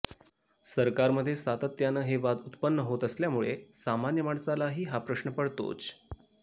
सरकारध्ये सातत्यानं हे वाद उत्पन्न होत असल्यामुळे सामान्य माणसालाही हा प्रश्न पडतोच